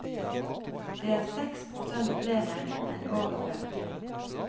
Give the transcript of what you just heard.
Det er seks prosent flere enn året før.